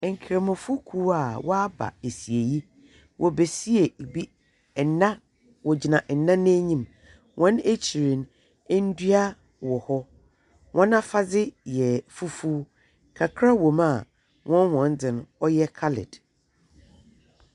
Nkramofokuw a wɔaba asiei. Wɔbesie bi nna wogyina nna n'enyim. Hɔn akyir no ndua wɔ hɔ. Hɔn afadze yɛ fufuw. Kakra wɔ mu a, hɔn wɔdze no ɔyɛ coloured.